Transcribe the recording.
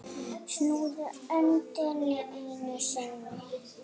Snúðu öndinni einu sinni.